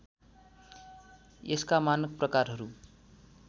यसका मानक प्रकारहरू